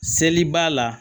Seli b'a la